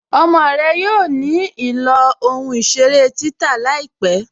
Ọmọ rẹ yóò ní ilọ̀ ohun-iṣèrè títà láípẹ̀.